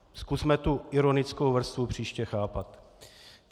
Zkusme tu ironickou vrstvu příště chápat.